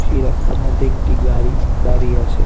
এই রাস্তার মধ্যে একটি গাড়ি দাঁড়িয়ে আছে।